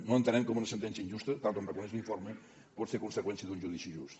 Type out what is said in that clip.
no entenem com una sentència injusta tal com reconeix l’informe pot ser conseqüència d’un judici just